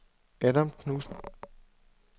Adam Knudsen